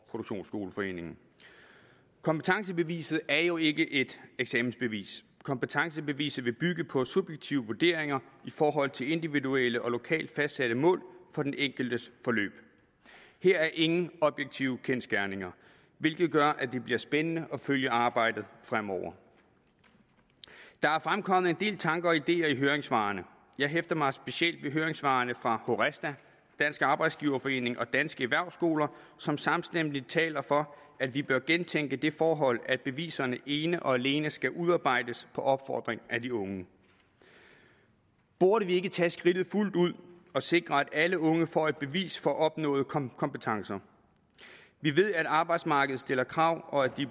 produktionsskoleforeningen kompetencebeviset er jo ikke et eksamensbevis kompetencebeviset vil bygge på subjektive vurderinger i forhold til individuelle og lokalt fastsatte mål for den enkeltes forløb her er ingen objektive kendsgerninger hvilket gør at det bliver spændende at følge arbejdet fremover der er fremkommet en del tanker og ideer i høringssvarene jeg hæfter mig specielt ved høringssvarene fra horesta dansk arbejdsgiverforening og danske erhvervsskoler som samstemmende taler for at vi bør gentænke det forhold at beviserne ene og alene skal udarbejdes på opfordring af de unge burde vi ikke tage skridtet fuldt ud og sikre at alle unge får et bevis for opnåede kompetencer vi ved at arbejdsmarkedet stiller krav og at de